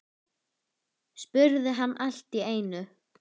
spurði hann allt í einu.